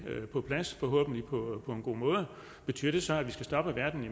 på plads på en god måde betyder det så at vi skal stoppe verden i